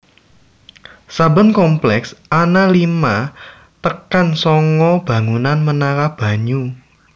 Saben komplèks ana lima tekan sanga bangunan menara banyu